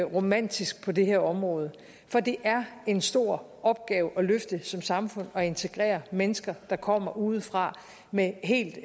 romantisk på det her område for det er en stor opgave at løfte som samfund at integrere mennesker der kommer udefra med en helt